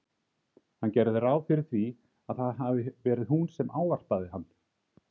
Hann gerði ráð fyrir því að það hafi verið hún sem ávarpaði hann.